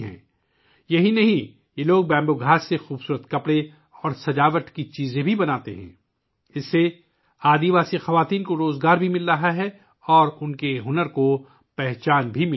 یہی نہیں یہ لوگ بانس کی گھاس سے خوبصورت کپڑے اور سجاوٹ بھی بناتے ہیں، جس کی وجہ سے قبائلی خواتین کو روزگار بھی مل رہا ہے اور ان کے ہنر کو بھی پہچان مل رہی ہے